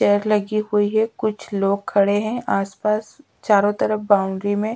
chair लगी हुई है कुछ लोग खड़े हैं आसपास चारों तरफ बाउंड्री में--